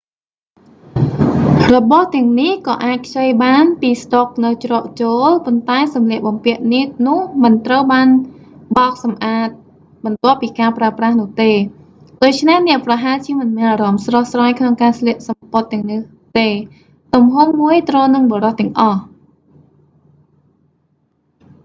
របស់ទាំងនេះក៏អាចខ្ចីបានពីស្តុកនៅច្រកចូល ប៉ុន្តែសម្លៀកបំពាក់នោះមិនត្រូវបានបោកសម្អាតបន្ទាប់ពីការប្រើប្រាស់នោះទេ ដូច្នេះអ្នកប្រហែលជាមិនមានអារម្មណ៍ស្រស់ស្រាយក្នុងការស្លៀកសំពត់ទាំងនេះទេ ទំហំមួយត្រូវនឹងបុរសទាំងអស់